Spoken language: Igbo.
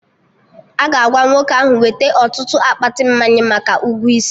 Aga agwa nwoke ahụ weta ọtụtụ akpati mmanya maka ụgwọ isi